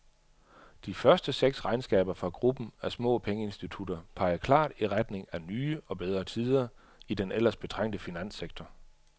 De første seks regnskaber fra gruppen af små pengeinstitutter peger klart i retning af nye og bedre tider i den ellers betrængte finanssektor.